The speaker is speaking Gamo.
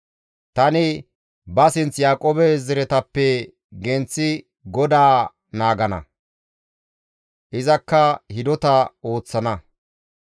Tani ba sinth Yaaqoobe zaretappe genththida GODAA naagana; izakka hidota ooththana.